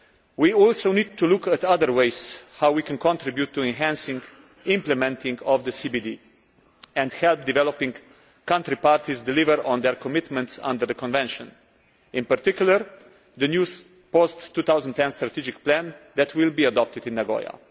We also need to look at other ways of how we can contribute to enhancing implementation of the Convention on Biodiversity and help developing country parties deliver on their commitments under the convention, in particular, the new post 2010 strategic plan that will be adopted in Nagoya.